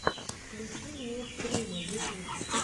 включи мне стримы ютуб